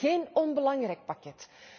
Dat is geen onbelangrijk pakket.